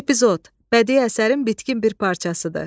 Epizod, bədii əsərin bitkin bir parçasıdır.